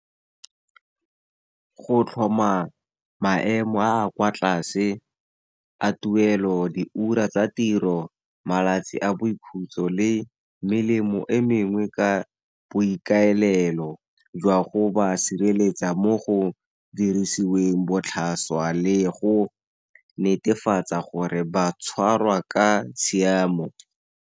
Go tlhoma maemo a a kwa tlase a tuelo, diura tsa tiro, malatsi a boikhutso le melemo e mengwe ka boikaelelo, jwa go ba sireletsa mo go dirisiweng botlhaswa, le go netefatsa gore ba tshwarwa ka tshiamo.